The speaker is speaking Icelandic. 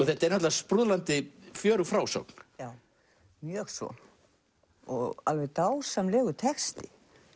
þetta er fjörug frásögn já mjög svo alveg dásamlegur texti